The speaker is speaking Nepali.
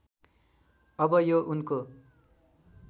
अब यो उनको